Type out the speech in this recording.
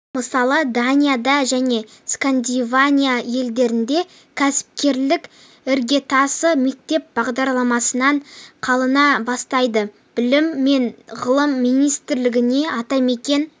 мысалы данияда және скандинавия елдерінде кәсіпкерліктің іргетасы мектеп бағдарламасынан қалана бастайды білім және ғылым министрлігіне атамекен